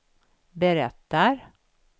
berättar